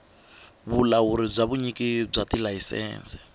vulawuri bya vunyiki bya tilayisense